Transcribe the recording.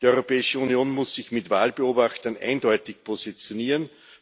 Die Europäische Union muss sich mit Wahlbeobachtern eindeutig positionieren.